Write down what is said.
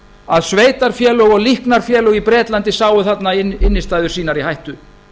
að sveitarfélög og líknarfélög í bretlandi sáu þarna innistæður sínar í hættu